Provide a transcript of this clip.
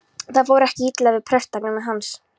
Það fór ekki illa við prestakragann hans.